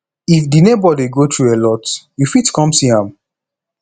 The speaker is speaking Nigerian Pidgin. if di neighbour dey go through alot you fit come see am